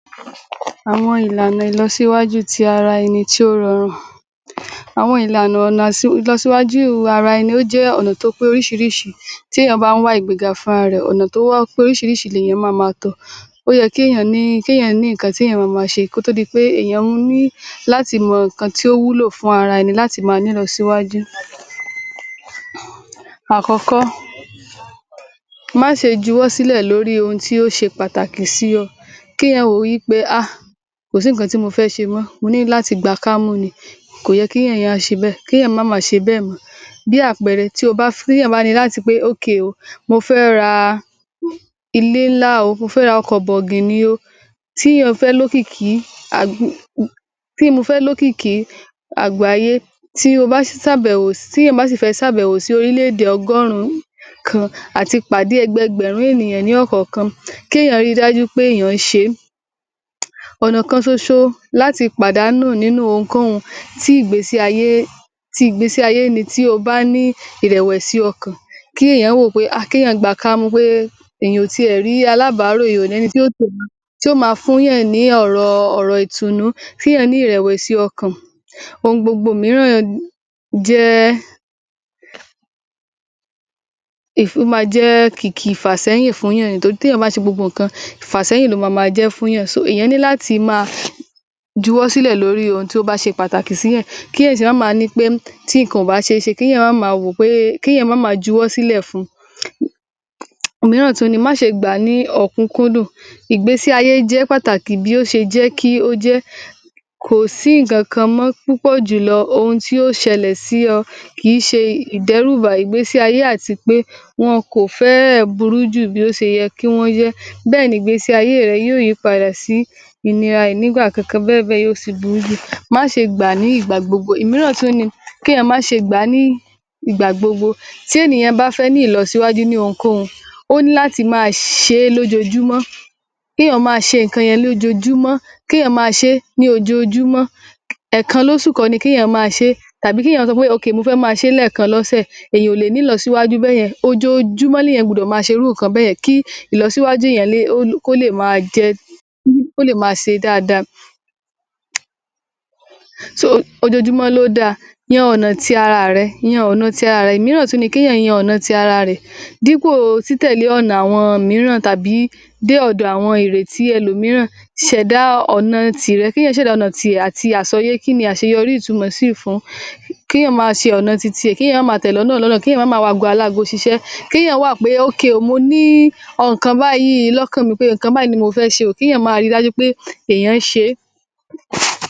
Àwọn ìlànà ìlọsíwájú ti ara ẹni tí ó rọrùn. Àwọn ìlànà ọ̀nà ìlọsíwájú ara ẹni jẹ́ ọ̀nà tó wọ́pọ̀ pé oríṣìíríṣìí. Tí ẹ̀yàn bá ń wá ìgbégà fún ara, ọ̀nà tó wọ́pọ̀ pé oríṣìíríṣìí lẹ́yìn máa tọ́. Ó yẹ kí ẹ̀yàn ní, kí ẹ̀yàn ní nkan tí ẹ̀yàn máa ṣe, kò tíì di pé ẹ̀yàn ní láti mọ nkan tí ó wúlò fún ara ẹni láti máa lọ síwájú. Àkọ́kọ́, má ṣe ju ohun tó ṣe pàtàkì sí ọ sílẹ̀. Kí ẹ̀yàn wo pé, “Ah! Kò sí nkan tí mo fẹ́ ṣe mọ́. Mo ní láti gbà kámú ni.” Kò yẹ kí ẹ̀yàn ṣe bẹ́ẹ̀. Kí ẹ̀yàn máa má ṣe bẹ́ẹ̀ mọ́. Bí àpẹẹrẹ tí ó bá jẹ́ pé ẹ̀yàn ní láti pé, okay, “Mo fẹ́ ra ilé ńlá o, mo fẹ́ ra ọkọ̀ bọ́ọ̀gì ni o.” Tí ẹ̀yàn fẹ́ òkìkí, àà, tí mo fẹ́ òkìkí ayé. Tí mo bá sábẹ̀wò, tí ẹ̀yàn bá fẹ́ sábẹ̀wò sí orílẹ̀-èdè ọgọ́rùn-ún kan, àbí ẹgbẹ̀gbẹ̀rún ènìyàn ní ọkọ̀ kan. Kí ẹ̀yàn rí dájú pé ẹ̀yàn ṣe. Ọ̀nà kan ṣoṣo ni láti padà nù nínú ohunkóhun ti ìgbésí ayé, tí ìgbésí ayé bá fẹ́ ṣe ní ìrẹwẹ́sì ọkàn. Kí ẹ̀yàn wo pé, “Ah!” Kí ẹ̀yàn gbà kámú pé ẹ̀yàn ò tíì jẹ́ alábàárò, ẹni tí yóò máa fún ẹ̀yàn ní ọ̀rọ̀, ọ̀rọ̀ ìtùnú. Kí ẹ̀yàn ní ìrẹwẹ́sì sí ọkàn. Ohun gbogbo mìíràn jẹ́, ìfọ̀ọkànbalẹ̀ má jẹ́ kíkì ìfàsẹyìn fún ẹ̀yàn torí tí ẹ̀yàn bá ṣe gbogbo nkan, ìfàsẹ̀yìn ló máa jẹ́ fún ẹ̀yàn. So ẹ̀yàn ní láti má ṣe ju ohun tó ṣe pàtàkì sílẹ̀. Kí ẹ̀yàn máa má ní pé tí nkan bá ṣe ṣẹlẹ̀. Kí ẹ̀yàn máa má wo pé, kí ẹ̀yàn máa má ju ohun sílẹ̀ fún un. Òmíràn tún ni, má ṣe gbà nínú òkùnkùn. Ìgbésí ayé jẹ́ pàtàkì bí o ṣe jẹ́ kí o jẹ́. Kò sí nkan kan mọ́ ju púpọ̀ nínú ohun tí ó ṣẹlẹ̀ sí ọ lọ. Kì í ṣe ìdèrúbà ìgbésí ayé, àti pé wọ́n kò fẹ́ burújú bí ó ṣe yẹ kí wọ́n yẹ. Bẹ́ẹ̀ ni, ìgbésí ayé rẹ yóó padà sí ìnira nígbàkúgbà, bẹ́ẹ̀ yóó sì burújú. Má ṣe gbà ní ìgbà gbogbo. Òmíràn tún ni kí ẹ̀yàn má ṣe gbà ní ìgbà gbogbo. Tí ènìyàn bá fẹ́ ní ìlòsíwájú nínú ohunkóhun, ó ní láti máa ṣe l’ọ́jọ́ ojúmọ́. Kí ẹ̀yàn máa ṣe nkan yẹn l’ọ́jọ́ ojúmọ́. Kí ẹ̀yàn máa ṣe ní ojúmọ́. Ẹẹ̀kan l’ósù kì í jẹ́ kí ẹ̀yàn máa ṣe, tàbí kí ẹ̀yàn sọ pé, “Mo fẹ́ máa ṣe lẹ́ẹ̀kan l’ọ̀sẹ̀.” Ẹ̀yà ò le ní ìlòsíwájú bẹ́ẹ̀nì. Ojoojúmọ́ ni ẹ̀yàn gbọ́dọ̀ máa ṣe irú nkan bẹ́ẹ̀ kí ìlòsíwájú yẹn lè jẹ́, kí ó lè máa dáa. So ojoojúmọ́ ló dá. Yàn ọ̀nà ti ara rẹ. Yàn ọ̀nà ti ara rẹ. Òmíràn tún ni kí ẹ̀yàn yàn ọ̀nà ti ara rẹ. Dípò kí o tẹ̀lé ọ̀nà àwọn míì tàbí dé ọ̀dọ̀ àwọn ìrètí iran míì, ṣẹ̀dá ọ̀nà tirẹ. Kí ẹ̀yàn ṣẹ̀dá ọ̀nà tirẹ̀, àti àsọyé kíni àṣeyọrí túmọ̀ sí fún un. Kí ẹ̀yàn máa ṣe ọ̀nà tirẹ. Kí ẹ̀yàn máa má tẹ̀ l’ọ̀nà àwọn mìíràn. Kí ẹ̀yàn máa má wo ago alágò sísẹ́. Kí ẹ̀yàn wí pé, okay o, “Mo ní ọkàn báyìí, lókàn-in mi pé nkan báyìí ni mo fẹ́ ṣe.” Kí ẹ̀yàn rí dájú pé ẹ̀yàn ṣe.